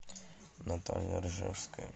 наталья ржевская